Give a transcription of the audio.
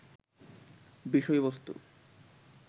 বিষয়বস্তু